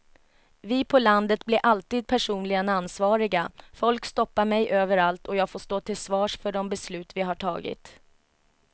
Vi på landet blir alltid personligen ansvariga, folk stoppar mig överallt och jag får stå till svars för de beslut vi har tagit.